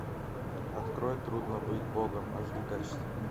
открой трудно быть богом аш ди качество